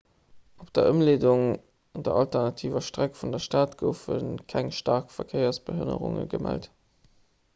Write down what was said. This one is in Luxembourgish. op der ëmleedung der alternativer streck vun der stad goufe keng staark verkéiersbehënnerunge gemellt